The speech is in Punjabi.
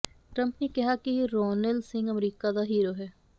ਟਰੰਪ ਨੇ ਕਿਹਾ ਕਿ ਰੌਨਿਲ ਸਿੰਘ ਅਮਰੀਕਾ ਦਾ ਹੀਰੋ ਹੈ